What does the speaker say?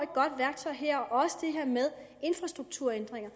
godt værktøj her også det her med infrastrukturændringer